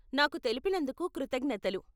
నాకు తెలిపినందుకు కృతజ్ఞతలు.